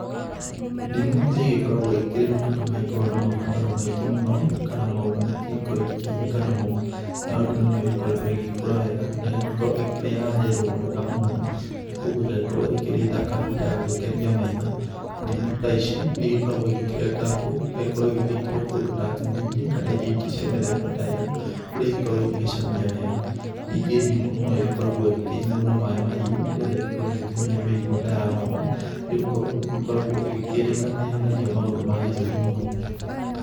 Ndimũ nĩigĩkoragwo ikĩrĩ matunda magĩkoragwo na mabataro maingĩ mũno, kana maũndũ maingĩ igĩkoragwo ĩkĩhũthĩka namo. Nayo ndimũ niyo igĩkoretwo ĩgĩkũra wega na ĩgagĩkorwo ĩkĩrĩ ya yerũ mwega mũno, na koguo ĩgagĩkorwo ĩkĩrĩ thaka ya gũgĩkenia maitho. Ndimũ ta ici, nĩ igĩkoragwo ikĩrengangwo, igagĩkorwo igĩkĩrwo kũndũ ta nyamainĩ kana irio ingĩ cia mĩthemba ta ĩo, kũrĩa igĩkoragwo igĩgĩcamia wega. Ningĩ ndimũ noĩgĩkoragwo ĩgĩkĩnyuo na maĩ mahiũ nĩgetha igakorwo igĩkĩhonia mĩrimũ ta ya homa, nĩgũkorwo nĩgĩkoragwo ĩgĩkĩrĩka nĩĩhonagia maũndũ ma gĩthũri mũno.